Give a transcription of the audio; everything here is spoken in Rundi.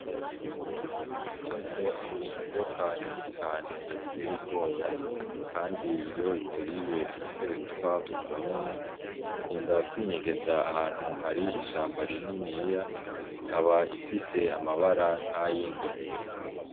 Itako ni inzoka nini cane iteye ubwoba, kandi iyo ikuriye utera upfa ubwo nyene ikunda kwinyegeza ahantu hari ishamba rininiya ikaba ifise amabara nk'ayingwe.